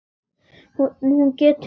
Hún getur legið.